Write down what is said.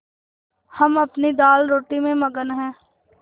हम अपनी दालरोटी में मगन हैं